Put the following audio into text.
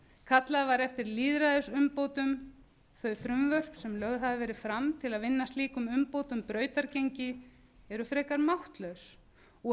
kallað var eftir lýðræðisumbótum þau frumvörp sem lögð hafa verið fram til að vinna slíkum umbótum brautargengi eru frekar máttlaus og